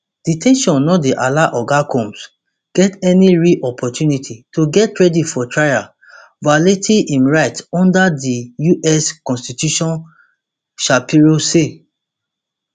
de ten tion no dey allow oga combs get any real opportunity to get ready for trial violating im rights under di us constitution shapiro say